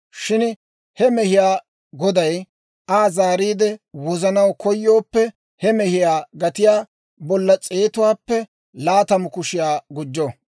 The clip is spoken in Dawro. Shin he mehiyaa goday Aa zaariide wozanaw koyooppe, he mehiyaa gatiyaa bolla s'eetuwaappe laatamu kushiyaa gujjo.